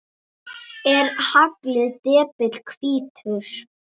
Er haglið depill hvítur?